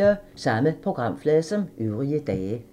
Samme programflade som øvrige dage